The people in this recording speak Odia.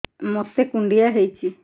ମୋତେ କୁଣ୍ଡିଆ ହେଇଚି